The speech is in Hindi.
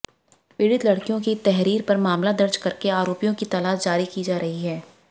पीड़ित लड़कियों की तहरीर पर मामला दर्ज करके आरोपियों की तालाश की जा रही है